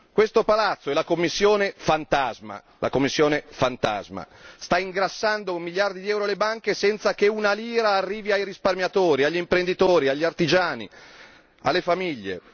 Questo palazzo e la Commissione fantasma sta ingrassando un miliardo di euro alle banche senza che una lira arrivi ai risparmiatori, agli imprenditori, agli artigiani, alle famiglie.